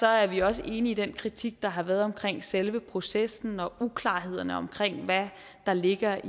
er vi også enige i den kritik der har været af selve processen og uklarhederne om hvad der ligger